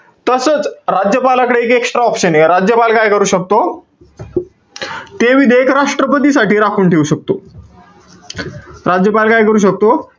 तसंच, राज्यपालाकडे एक extra option ए. राज्यपाल काय करू शकतो? ते विधेयक राष्ट्रपतीसाठी राखून ठेऊ शकतो. राज्यपाल काय करू शकतो?